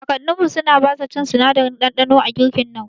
Kakanninmu suna basa cin sinadarin ɗanɗano a girkinau